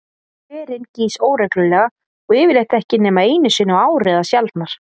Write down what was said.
Hverinn gýs óreglulega og yfirleitt ekki nema einu sinni á ári eða sjaldnar.